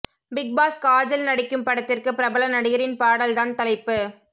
big boss Kajal நடிக்கும் படத்திற்கு பிரபல நடிகரின் பாடல் தான் தலைப்பு